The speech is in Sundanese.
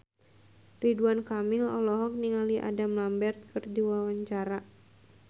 Ridwan Kamil olohok ningali Adam Lambert keur diwawancara